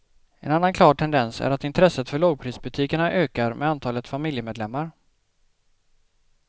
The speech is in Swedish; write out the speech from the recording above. En annan klar tendens är att intresset för lågprisbutikerna ökar med antalet familjemedlemmar.